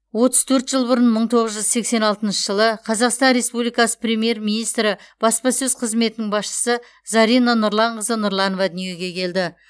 отыз төрт жыл бұрын мың тоғыз жүз сексен алтыншы жылы қазақстан республикасы премьер министрі баспасөз қызметінің басшысы зарина нұрланқызы нұрланова дүниеге келді